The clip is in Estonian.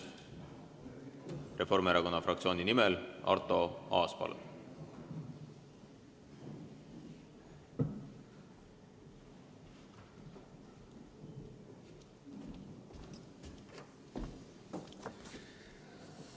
Reformierakonna fraktsiooni nimel Arto Aas, palun!